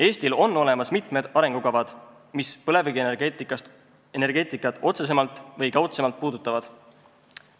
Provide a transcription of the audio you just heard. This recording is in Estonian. Eestil on olemas mitmed arengukavad, mis põlevkivienergeetikat otsesemalt või kaudsemalt puudutavad.